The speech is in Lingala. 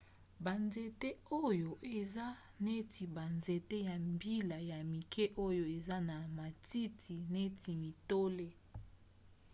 banzete oyo eza neti banzete ya mbila ya mike oyo eza na matiti neti mitole